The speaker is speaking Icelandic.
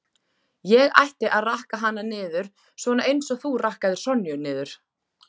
Ég ætti að rakka hana niður, svona eins og þú rakkaðir Sonju niður